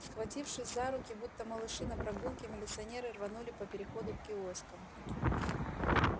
схватившись за руки будто малыши на прогулке милиционеры рванули по переходу к киоскам